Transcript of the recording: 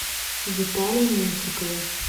витале меньшикове